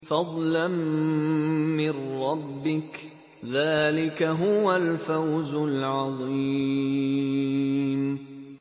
فَضْلًا مِّن رَّبِّكَ ۚ ذَٰلِكَ هُوَ الْفَوْزُ الْعَظِيمُ